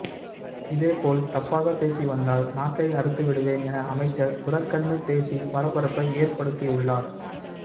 இதே போல் தப்பாக பேசி வந்தால் நாக்கை அறுத்து விடுவேன் என அமைச்சர் துரக்கண்ணு பேசி பரபரப்பை ஏற்படுத்தியுள்ளார்